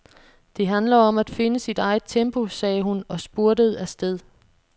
Det handler om at finde sit eget tempo, sagde hun og spurtede afsted.